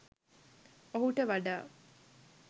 ඔහුට වඩා